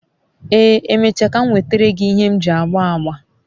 ee, emecha ka m nwetara gi ihe m ji agba agba